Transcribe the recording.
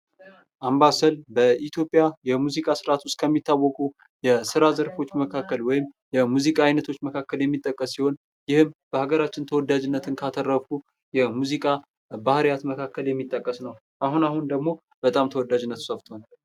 አምባሰል በኢትዮጵያ የሙዚቃ ስርዓት ውስጥ ከሚታወቁ የስራ ዘርፎች መካከል ወይም የሙዚቃ አይነቶች መካከል የሚጠቀስ ሲሆን ይህም በአገራችን ተወዳጅነት ካተረፉ የሙዚቃ ባህሪያት መካከል የሚጠቀስ ነው። አሁን አሁን ደግሞ በጣም ተወዳጅነቱ ሰፍቷል